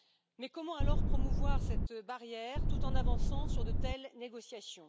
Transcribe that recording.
Mais comment alors promouvoir cette barrière, tout en avançant sur de telles négociations?